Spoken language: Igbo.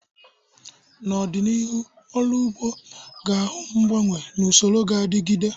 N'ọdịnihu, ọrụ ugbo ga-ahụ mgbanwe n'usoror ga-adigide.